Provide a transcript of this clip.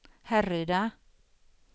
Härryda